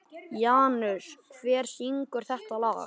Janus, hver syngur þetta lag?